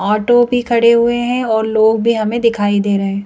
Auto भी खड़े हुए हैं और लोग भी हमें दिखाई दे रहे हैं ।